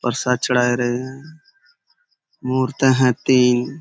परसाद चढ़ाए रहे है। मूरतें हैं तीन।